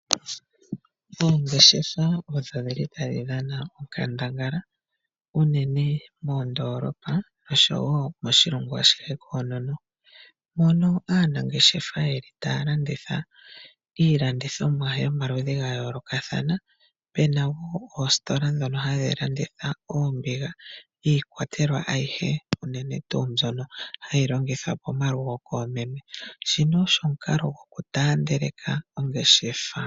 Oongeshefa odho dhili tadhi dhana onkandangala unene moondoolopa oshowo moshilongo ashihe koonono. Mono aanangeshefa otaya landitha iilandithomwa yomaludhi gayoolokathana. Ope na woo oostola dhono hadhi landitha oombiga iikwatelwa ayihe unene tuu mbyono hayi longithwa pomalugo koomeme, nguno ogo omukalo gokutaandeleka ongeshafa.